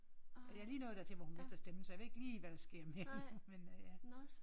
Jeg er lige nået dertil hvor hun mister stemmen så jeg ved ikke lige hvad der sker mere nu men øh ja